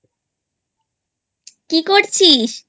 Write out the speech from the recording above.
কি করছিস?